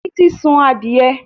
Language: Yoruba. Títí sun adìẹ